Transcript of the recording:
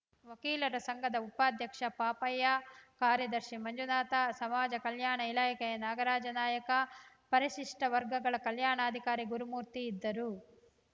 ವಕೀಲರ ಸಂಘದ ಉಪಾಧ್ಯಕ್ಷ ಪಾಪಯ್ಯ ಕಾರ್ಯದರ್ಶಿ ಮಂಜುನಾಥ ಸಮಾಜ ಕಲ್ಯಾಣ ಇಲಾಖೆಯ ನಾಗರಾಜ ನಾಯಕ ಪರಿಶಿಷ್ಟವರ್ಗಗಳ ಕಲ್ಯಾಣಾಧಿಕಾರಿ ಗುರುಮೂರ್ತಿ ಇದ್ದರು